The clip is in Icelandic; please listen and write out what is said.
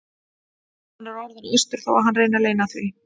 Hann er orðinn æstur þó að hann reyni að leyna því.